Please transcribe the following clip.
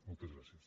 moltes gràcies